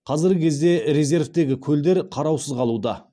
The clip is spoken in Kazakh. қазіргі кезде резервтегі көлдер қараусыз қалуда